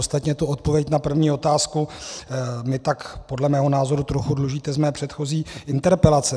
Ostatně tu odpověď na první otázku mi tak podle mého názoru trochu dlužíte z mé předchozí interpelace.